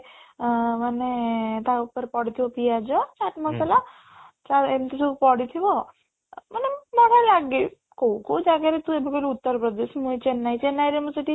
ଆଁ ମାନେ ତା ଉପରେ ପଡିଥିବ ପିଆଜ, chat ମସଲା ତାପରେ ଏମିତି ସବୁ ପଡିଥିବ ମାନେ ବଢିଆ ଲାଗେ କୋଉ କୋଉ ଜାଗାରେ ତୁ କହିଲୁ ଉତ୍ତରପ୍ରଦେଶ ମୁଁ ଏଇ ଚେନ୍ନାଇ, ଚେନ୍ନାଇରେ ମୁଁ ସେଇଠି